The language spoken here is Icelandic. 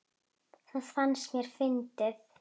Það fannst mér fyndið.